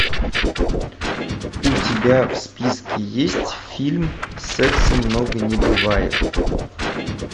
у тебя в списке есть фильм секса много не бывает